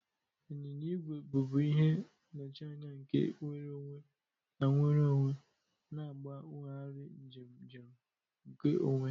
nyịnya igwe bụbu ihe nnọchianya nke nnwere onwe na nnwere onwe, na-agbanwegharị njem njem nke onwe.